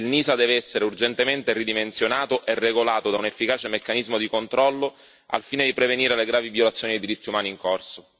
La NISA deve essere urgentemente ridimensionata e regolata da un efficace meccanismo di controllo, al fine di prevenire le gravi violazioni dei diritti umani in corso.